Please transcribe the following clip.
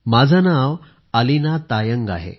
माझे नाव अलीना तायंग आहे